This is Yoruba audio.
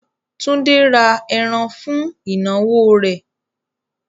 Túndé ra ẹran fún ìnáwó rẹ̀.